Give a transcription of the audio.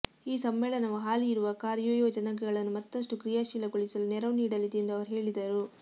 ಈ ಸಮ್ಮೇಳನವು ಹಾಲಿ ಇರುವ ಕಾರ್ಯಯೋಜನೆಗಳನ್ನು ಮತ್ತಷ್ಟು ಕ್ರಿಯಾಶೀಲಗೊಳಿಸಲು ನೆರವು ನೀಡಲಿದೆ ಎಂದು ಅವರು ಹೇಳಿದರು